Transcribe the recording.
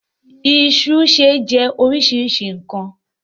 Iṣu ṣe jẹ́ oríṣiríṣi nkan.